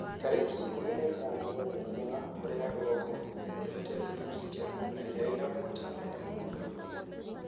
Tarĩki ikũmi na ithano wa Mugaa, Korea ya rũgongo nĩ ĩthundũrite nduthũki njerũ na ĩria ĩna ũhoti mũnene mũno thĩ yothe